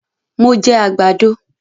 Mo jẹ àgbàdo